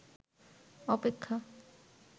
অপেক্ষা